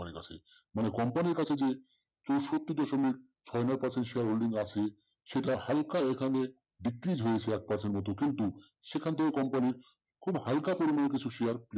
মানে company র কাছে যে তেষট্টি দশমিক ছয় নয় percent share আছে holding আছে সেটা হালকা এখানে decrease হয়েছে এক percent কিন্তু সেখান থেকে company র খুব হালকা পরিমাণ কিছু share